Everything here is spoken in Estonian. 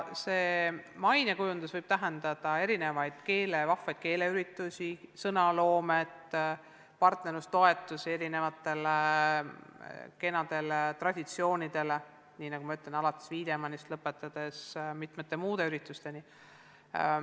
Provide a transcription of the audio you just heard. See mainekujundus võib tähendada erinevaid vahvaid keeleüritusi, sõnaloomet, partnerlustoetusi kenadele traditsioonidele, alates Wiedemanni auhinnast, nii nagu ma juba ütlesin, ja lõpetades mitmete muude üritustega.